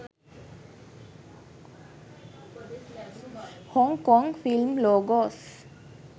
hong kong film logos